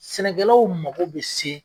Sɛnɛkɛlaw mago bɛ se